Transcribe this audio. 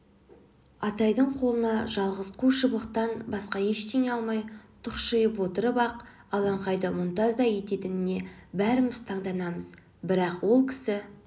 атайдың қолына жалғыз қу шыбықтан басқа ештеңе алмай тұқшиып отырып-ақ алаңқайды мұнтаздай ететініне бәріміз танданамыз бірақ ол кісі